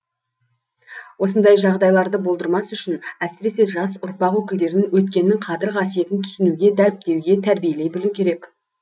осындай жағдайларды болдырмас үшін әсіресе жас ұрпақ өкілдерін өткеннің қадір қасиетін түсінуге дәріптеуге тәрбиелей білу керек